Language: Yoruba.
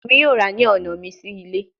Emi yoo ra ni ọna mi si ile